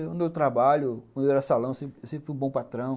Quando eu trabalho, quando eu era salão, eu sempre sempre fui um bom patrão.